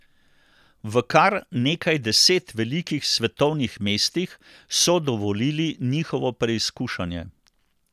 V kar nekaj deset velikih svetovnih mestih so dovolili njihovo preizkušanje.